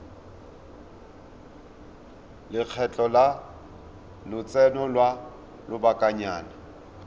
lekgetho la lotseno lwa lobakanyana